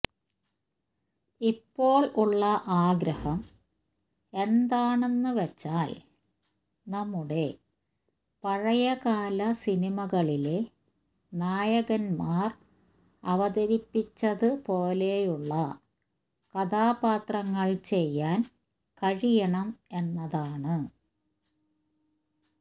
ഇപ്പോള് ഉള്ള ആഗ്രഹം എന്താണെന്ന് വെച്ചാല് നമ്മുടെ പഴയകാല സിനിമകളിലെ നായകമാര് അവതരിപ്പിച്ചത് പോലെയുള്ള കഥാപാത്രങ്ങള് ചെയ്യാന് കഴിയണം എന്നതാണ്